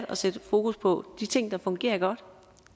der sættes fokus på de ting der fungerer godt